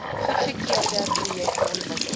goedgekeurde projekte ontwikkel